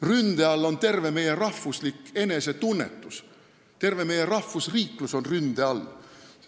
Ründe all on meie rahvuslik enesetunnetus – terve meie rahvusriiklus on ründe all.